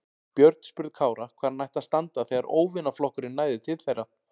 Björn spurði Kára hvar hann ætti að standa þegar óvinaflokkurinn næði til þeirra.